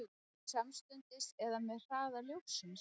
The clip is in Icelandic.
Samstundis eða með hraða ljóssins?